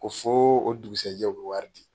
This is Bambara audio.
Ko fo o dugusɛjɛ o bɛ wari di.